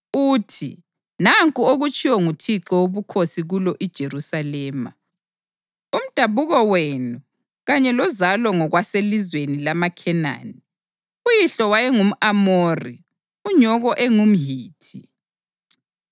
uthi, ‘Nanku okutshiwo nguThixo Wobukhosi kulo iJerusalema: Umdabuko wenu kanye lozalo ngokwaselizweni lamaKhenani; uyihlo wayengumʼAmori unyoko engumHithi.